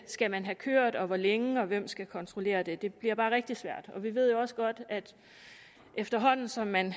skal man have kørt og hvor længe og hvem skal kontrollere det det bliver bare rigtig svært og vi ved jo også godt at efterhånden som man